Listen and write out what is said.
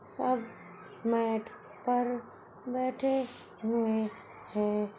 सब मैट पर बैठे हुए है।